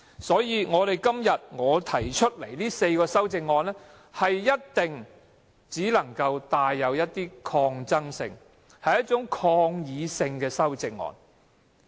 所以，我今天提出的4項修正案，一定只能是一種帶有一點抗爭性和抗議性的修正案。